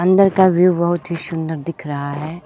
अंदर का व्यू बहुत ही सुंदर दिख रहा है।